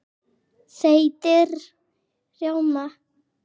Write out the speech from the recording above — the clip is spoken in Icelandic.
Þeytið rjóma.